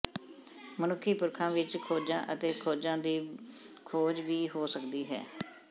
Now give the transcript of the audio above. ਮਨੁੱਖੀ ਪੁਰਖਾਂ ਵਿਚ ਖੋਜਾਂ ਅਤੇ ਖੋਜਾਂ ਦੀ ਖੋਜ ਵੀ ਹੋ ਸਕਦੀ ਹੈ